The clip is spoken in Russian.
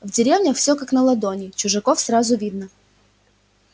в деревнях все как на ладони чужаков сразу видно